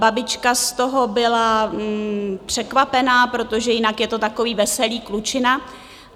Babička z toho byla překvapená, protože jinak je to takový veselý klučina.